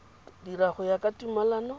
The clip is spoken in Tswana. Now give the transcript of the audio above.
dira go ya ka tumalano